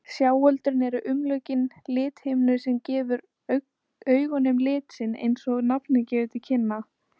Sjáöldrin eru umlukin lithimnu sem gefur augunum lit sinn, eins og nafnið gefur til kynna.